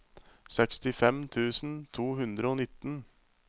sekstifem tusen to hundre og nitten